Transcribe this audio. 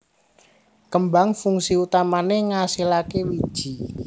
Kembang fungsi utamané ngasilaké wiji